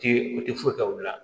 Ti u ti foyi kɛ u la